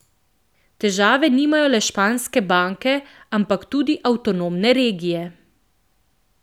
Težave nimajo le španske banke, ampak tudi avtonomne regije.